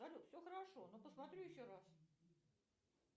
салют все хорошо но посмотрю еще раз